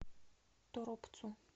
торопцу